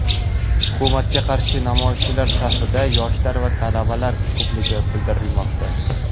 Hukumatga qarshi namoyishchilar safida yoshlar va talablar ko‘pligi bildirilmoqda.